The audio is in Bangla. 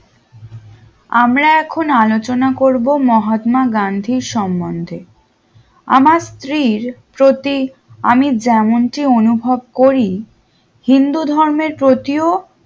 আমরা এখন আলোচনা করবো মহাত্মা গান্ধীর সম্বন্ধে আমার স্ত্রীর পতি আমি যেমনটি অনুভব করি হিন্দু ধর্মের পতিও